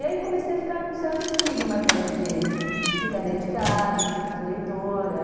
E aí comecei a ficar com certo estigma até de ficar dentro de casa, ser muito leitora.